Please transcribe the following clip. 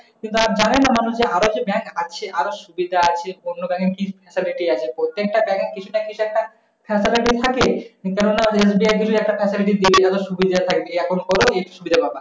কিন্তু তারা জানে না মানুষ আরো যে bank আছে। আরো সুবিধা আচে অন্য bank এ কি facility আছে? প্রতেকটা bank এ কিছু না কিছু একটা facility থাকে। এইকারনে SBI যদি একটা facility দেয় সুবিধা থাকে। account কর এই সুবিধা পাবা।